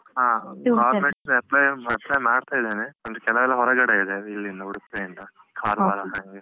ಹ government apply ಮಾಡ್ತಾ ಇದ್ದೇನೆ. ಅಂದ್ರೆ ಕೆಲವೆಲ್ಲ ಹೊರಗಡೆ ಇದೆ. ಇಲ್ಲಿಂದ ಉಡುಪಿಯಿಂದ ಕಾರವಾರ ಹಾಗೆ.